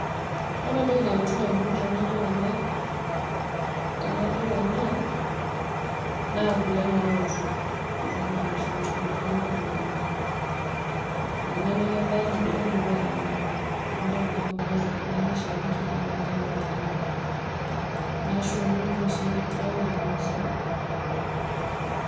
Ore entoki nalotu ndamunot tanadol ena tanadol ena naa kule naoto, kuna ale enkukurininye embae edukuya tanadol naa kuna ale napiki enewueji na kemelok nashumi peok irmassai.